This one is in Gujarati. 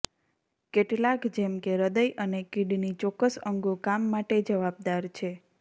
કેટલાક જેમ કે હૃદય અને કિડની ચોક્કસ અંગો કામ માટે જવાબદાર છે